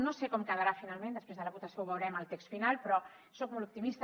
no sé com quedarà finalment després de la votació ho veurem el text final però soc molt optimista